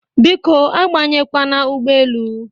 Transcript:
Biko abanyekwana ụgbọelu!